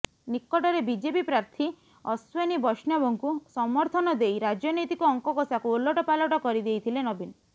ନିକଟରେ ବିଜେପି ପ୍ରାର୍ଥୀ ଅଶ୍ୱନୀ ବୈଷ୍ଣବଙ୍କୁ ସମର୍ଥନ ଦେଇ ରାଜନୈତିକ ଅଙ୍କକଷାକୁ ଓଲଟପାଲଟ କରି ଦେଇଥିଲେ ନବୀନ